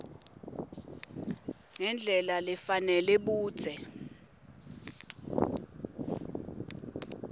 ngendlela lefanele budze